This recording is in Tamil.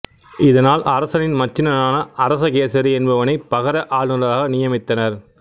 இதனால் அரசனின் மச்சினனான அரசகேசரி என்பவனைப் பகர ஆளுநராக நியமித்தனர்